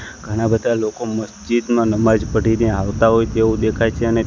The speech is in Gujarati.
ઘણા બધા લોકો મસ્જિદમાં નમાઝ પઢીને આવતા હોય તેવુ દેખાય છે અને--